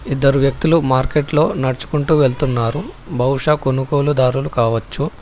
ఇద్దరు వ్యక్తులు మార్కెట్లో నడుచుకుంటూ వెళ్తున్నారు బహుశా కొనుగోలుదారులు కావచ్చు.